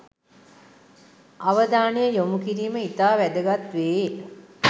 අවධානය යොමු කිරීම ඉතා වැදගත් වේ.